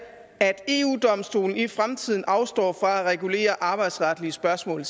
at eu domstolen i fremtiden afstår fra at regulere arbejdsretlige spørgsmål